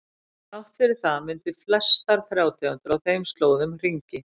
Þrátt fyrir það mynda flestar trjátegundir á þeim slóðum hringi.